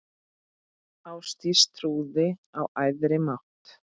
Ástdís trúði á æðri mátt.